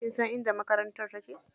Kinsan inda makarantar take?